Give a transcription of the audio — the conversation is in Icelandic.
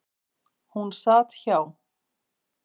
Hún sat hjá.